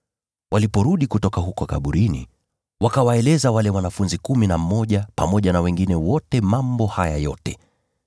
Waliporudi kutoka huko kaburini, wakawaeleza wale wanafunzi kumi na mmoja pamoja na wengine wote mambo haya yote.